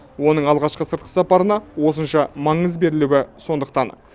оның алғашқы сыртқы сапарына осынша маңыз берілуі сондықтан